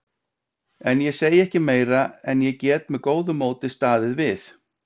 En ég segi ekki meira en ég get með góðu móti staðið við.